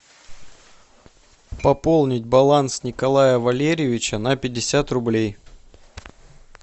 пополнить баланс николая валерьевича на пятьдесят рублей